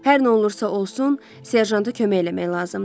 Hər nə olursa olsun, serjanta kömək eləmək lazımdır.